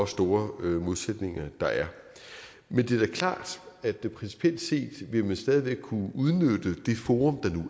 store modsætninger der er men det er da klart at principielt set vil man stadig væk kunne udnytte det forum